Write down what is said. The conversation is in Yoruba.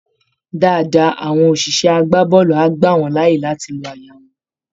Dáadáa, àwọn òṣìṣẹ́ agbábọ́ọ̀lù á gbà wọ́n láàyè láti lo àyà wọn